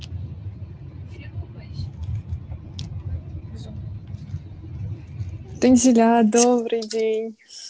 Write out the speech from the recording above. танзиля добрый день